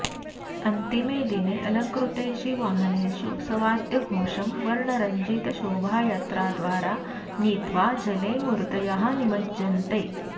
अन्तिमे दिने अलङ्कृतेषु वाहनेषु सवाद्यघोषं वर्णरञ्जितशोभायात्राद्वारा नीत्वा जले मूर्तयः निमज्ज्यन्ते